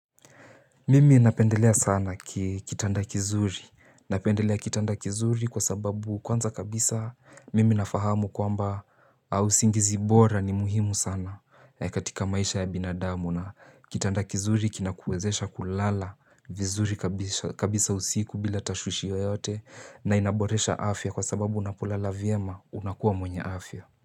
Mimi napendelea sana kitanda kizuri, napendelea kitanda kizuri kwa sababu kwanza kabisa mimi nafahamu kwamba usingizi bora ni muhimu sana katika maisha ya binadamu na kitanda kizuri kinakuwezesha kulala vizuri kabisa usiku bila tashushi yoyote na inaboresha afya kwa sababu unapulala vyema unakuwa mwenye afya.